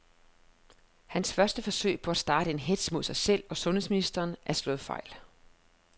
Hans første forsøg på at starte en hetz mod sig selv og sundheds ministeren er slået fejl.